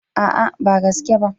A'a ba gaske ba.